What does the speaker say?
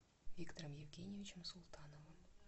виктором евгеньевичем султановым